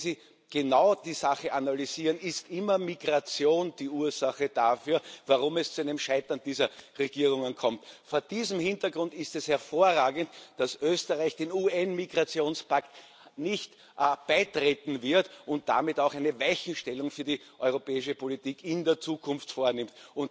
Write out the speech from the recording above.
Wenn Sie die Sache genau analysieren, ist immer Migration die Ursache dafür, warum es zu einem Scheitern dieser Regierungen kommt. Vor diesem Hintergrund ist es hervorragend, dass Österreich dem UN Migrationspakt nicht beitreten wird und damit auch eine Weichenstellung für die europäische Politik in der Zukunft vornimmt.